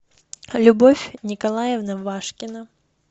любовь николаевна вашкина